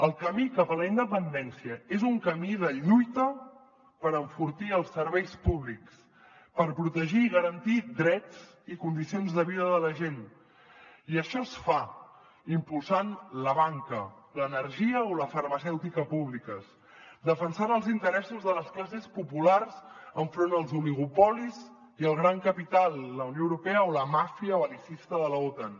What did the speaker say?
el camí cap a la independència és un camí de lluita per enfortir els serveis públics per protegir i garantir drets i condicions de vida de la gent i això es fa impulsant la banca l’energia o la farmacèutica públiques defensant els interessos de les classes populars enfront dels oligopolis i el gran capital la unió europea o la màfia bel·licista de l’otan